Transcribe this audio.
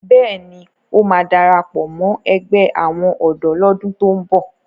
Bẹ́ẹ̀ ni, ó máa darapọ̀ mọ́ ẹgbẹ́ àwọn ọ̀dọ́ lọ́dún tó ń bọ̀.